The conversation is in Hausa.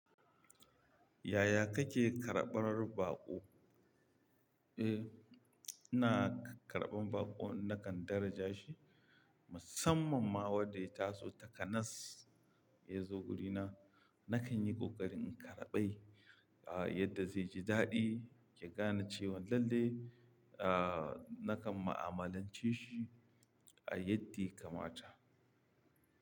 Yaya kake karɓar baƙo? Eh, ina karɓan baƙo nakan daraja shi, musamman ma wanda ya taso taka nas ya zo wurina, nakan yi ƙoƙari in karɓai ah yadda zai ji daɗi, ki gane cewan lallai ah nakan ma'amalance shi yadda ya kamata.